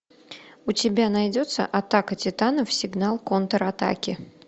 у тебя найдется атака титанов сигнал контратаки